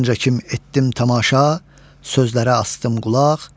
Muncakim etdim tamaşa, sözlərə asdım qulaq.